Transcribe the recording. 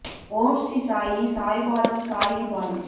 ஓம் ஸ்ரீ சாயி சாய் பாதம் சாயி பாதம்